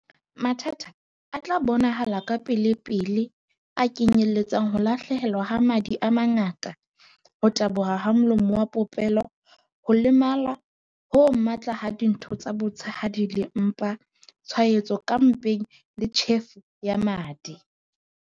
"Mathata a a tla bonahala kapelepele a kenyeletsa ho lahlehelwa ke madi a mangata ho taboha ha molomo wa popelo, ho lemala ho matla ha ditho tsa botshehadi le mpa, tshwaetso ka mpeng le tjhefo ya madi."